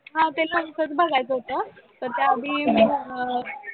हा ते पण करून बघायचं होतं पण त्या आधी अं